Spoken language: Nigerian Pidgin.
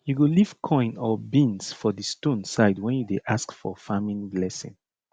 you go leave coin or beans for di stone side when you dey ask for farming blessing